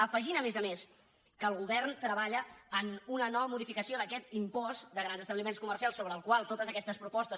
afegint a més a més que el govern treballa en una nova modificació d’aquest impost de grans establiments comercials sobre el qual totes aquestes propostes